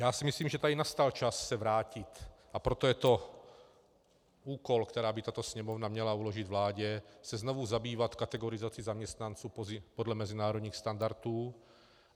Já si myslím, že tady nastal čas se vrátit, a proto je to úkol, který by tato Sněmovna měla uložit vládě, se znovu zabývat kategorizací zaměstnanců podle mezinárodních standardů.